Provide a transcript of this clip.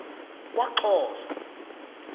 kwaxhosa